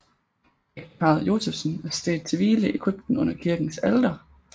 Ægteparret Josephsen er stedt til hvile i krypten under kirkens alter